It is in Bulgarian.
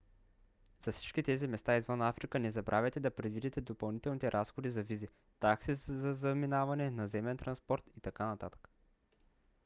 за всички тези места извън африка не забравяйте да предвидите допълнителните разходи за визи такси за заминаване наземен транспорт и т.н